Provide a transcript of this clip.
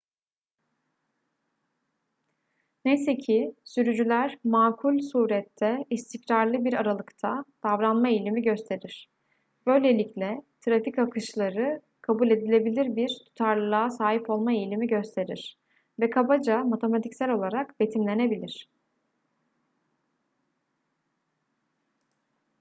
neyse ki sürücüler makul surette istikrarlı bir aralıkta davranma eğilimi gösterir böylelikle trafik akışları kabul edilebilir bir tutarlılığa sahip olma eğilimi gösterir ve kabaca matematiksel olarak betimlenebilir